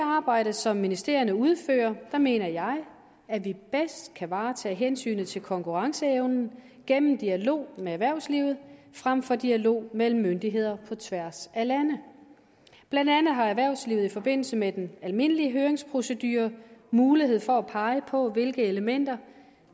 arbejde som ministerierne udfører mener jeg at vi bedst kan varetage hensynet til konkurrenceevnen gennem dialog med erhvervslivet frem for dialog mellem myndigheder på tværs af lande blandt andet har erhvervslivet i forbindelse med den almindelige høringsprocedure mulighed for at pege på hvilke elementer